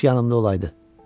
Kaş yanımda olaydı.